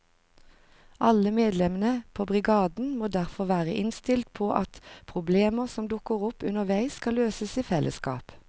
Alle medlemmene på brigaden må derfor være innstilt på at problemer som dukker opp underveis skal løses i fellesskap.